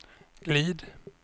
glid